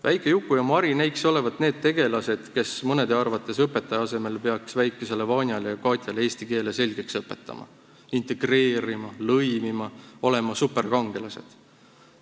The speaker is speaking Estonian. Väike Juku ja Mari näikse olevat need tegelased, kes mõne arvates peaksid õpetaja asemel väikesele Vanjale ja Katjale eesti keele selgeks õpetama, neid integreerima, lõimima, olema superkangelased.